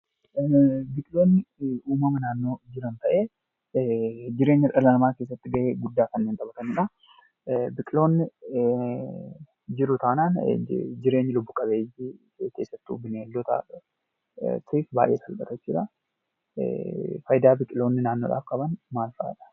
Biqiltoonni uumama naannoo jiran tahee jireenya dhala namaa keessatti gahee guddaa Kan taphataniidha. Biqiltoonni jiru taanan jireenyi lubbu-qabeeyyii keessattuu bineeldotaaf baayee salphaata jechuudha. Faayidaa biqiltoonni naannoof qaban maal fa'adha?